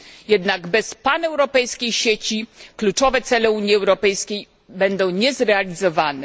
Jednak bez paneuropejskiej sieci kluczowe cele Unii Europejskiej będą niezrealizowane.